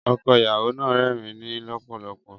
Ọkọ ìyàwó náà ń rẹ́rìn-ín lọ́pọ̀lọpọ̀.